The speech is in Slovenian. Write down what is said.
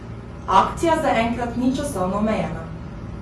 Akcija zaenkrat ni časovno omejena.